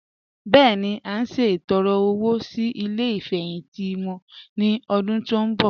Bẹ́ẹ̀ni, à n ṣẹtọ̀rẹ́ owo sí ilẹ̀ ifẹ́hìntì wọn ni ọ̀dún tó nbọ̀.